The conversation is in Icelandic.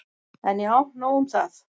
En já, nóg um það.